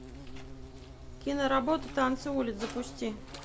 киноработа танцы улиц запусти